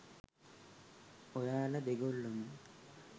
ඔයාල දෙගොල්ලොම